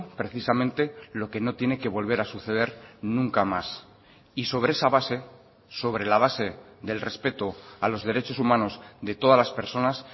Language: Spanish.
precisamente lo que no tiene que volver a suceder nunca más y sobre esa base sobre la base del respeto a los derechos humanos de todas las personas